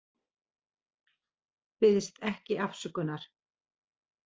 Biðst ekki afsökunar